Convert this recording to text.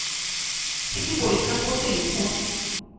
এটি পরীক্ষা করতে লিখুন